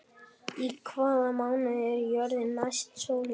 Í hvaða mánuði er jörðin næst sólinni?